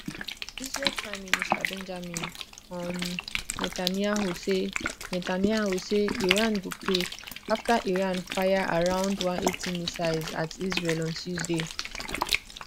israel prime minister benjamin um netanyahu say netanyahu say iran go pay after iran fire around 180 missiles at israel on tuesday